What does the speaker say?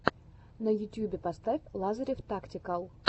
на ютюбе поставь лазарев тактикал